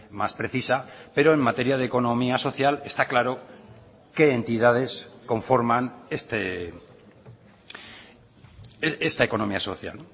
más precisa pero en materia de economía social está claro qué entidades conforman esta economía social